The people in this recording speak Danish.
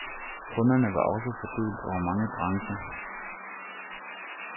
Kunderne var også fordelt over mange brancher.